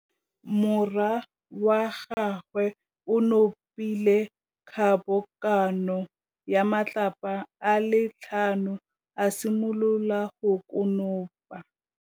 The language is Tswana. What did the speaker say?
Morwa wa gagwe o nopile kgobokanô ya matlapa a le tlhano, a simolola go konopa.